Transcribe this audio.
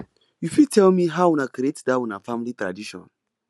you fit tell me how una create that una family tradition